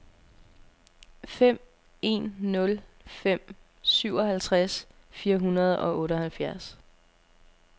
fem en nul fem syvoghalvtreds fire hundrede og otteoghalvfjerds